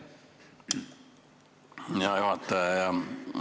Hea juhataja!